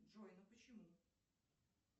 джой ну почему